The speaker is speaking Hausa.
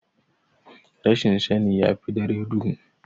Rashin sani yafi dare duhu.